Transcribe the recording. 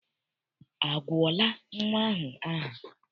A gụọla nnwa ahụ aha?